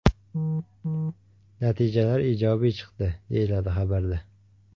Natijalar ijobiy chiqdi”, deyiladi xabarda.